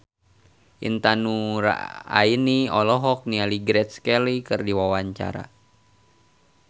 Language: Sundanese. Intan Nuraini olohok ningali Grace Kelly keur diwawancara